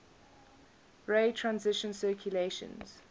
ray transition calculations